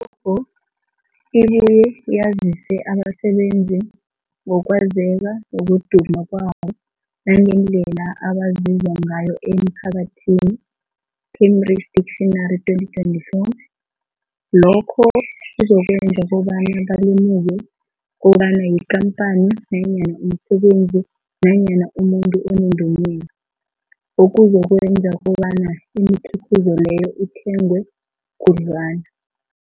I-logo ibuye yazise abasebenzisi ngokwazeka nokuduma kwabo nangendlela abaziwa ngayo emphakathini, Cambridge Dictionary 2024. Lokho kuzokwenza kobana balemuke kobana yikhamphani nanyana umsebenzi nanyana umuntu onendumela, okuzokwenza kobana imikhiqhizo leyo ithengwe khudlwana.